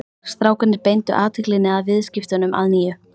Strákarnir beindu athyglinni að viðskiptunum að nýju.